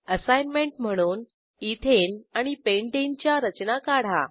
assignment म्हणून ethane आणि pentane च्या रचना काढा